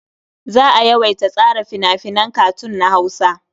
Za a yawaita tsara fina-finan katun na Hausa.